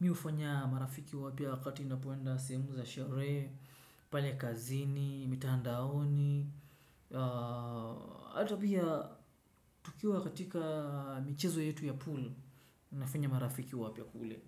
mimi hufanya marafiki wapya wakati ninapoenda sehemu za sherehe, pale kazini, mitandaoni. Hata pia tukiwa katika michezo yetu ya pool, nafanya marafiki wapya kule.